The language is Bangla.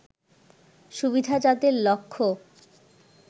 সুবিধা যাদের লক্ষ্য